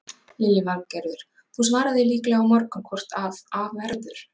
Lillý Valgerður: Þú svarar því líklega á morgun hvort að af verður?